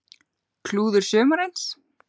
Klúður sumarsins?